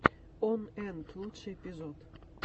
он энт лучший эпизод